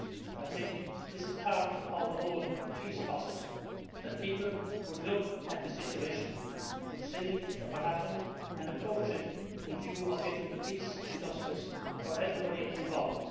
I think this is part of the whole peace process, that people look at the situation, see what happened, and approach it with a view to getting peace and justice for everybody involved.